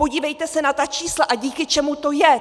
Podívejte se na ta čísla, a díky čemu to je.